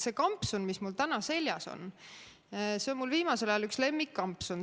See kampsun, mis mul täna seljas on, see on mul viimasel ajal üks lemmikkampsun.